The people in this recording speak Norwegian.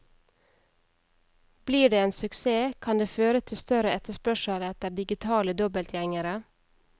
Blir det en suksess, kan det føre til større etterspørsel etter digitale dobbeltgjengere.